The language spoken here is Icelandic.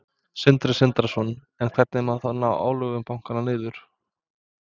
Sindri Sindrason: En hvernig má þá ná álögum bankanna niður?